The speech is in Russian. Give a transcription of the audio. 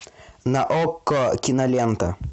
на окко кинолента